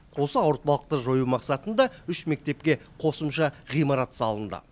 осы ауыртпалықты жою мақсатында үш мектепке қосымша ғимарат салынды